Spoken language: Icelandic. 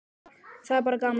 Það er bara gaman.